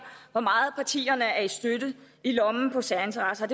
hvor meget partierne er i lommen på særinteresser